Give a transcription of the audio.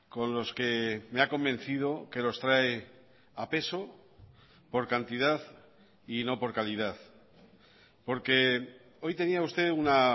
con los que me ha convencido que los trae a peso por cantidad y no por calidad porque hoy tenía usted una